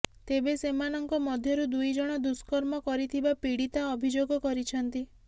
ତେବେ ସେମାନଙ୍କ ମଧ୍ୟରୁ ଦୁଇଜଣ ଦୁଷ୍କର୍ମ କରିଥିବା ପୀଡ଼ିତା ଅଭିଯୋଗ କରିଛନ୍ତି